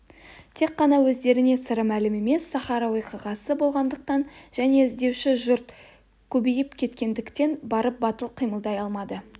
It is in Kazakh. тек қана өздеріне сыры мәлім емес сахра уақиғасы болғандықтан және іздеуші жұрт көбейіп кеткендіктен барып батыл қимылдай алмады